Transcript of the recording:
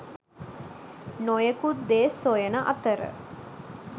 නොයෙකුත් දේ සොයන අතර